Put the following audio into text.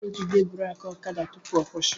I ga-ejide buraaki ọkada tupu ọ kwusi